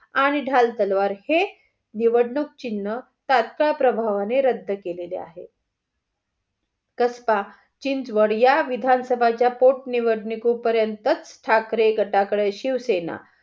आणि ढाल तलवार हे निवडणूक चिन्ह तात्काळ प्रभावाने रद्द केलेले आहे. कसबा, चिंचवड या विधान सभाच्या पोट निवडणूक पर्यंतच ठाकरे गटाकडे शिवसेना